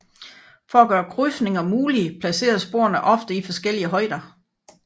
For at gøre krydsninger mulige placeres sporene ofte i forskellige højder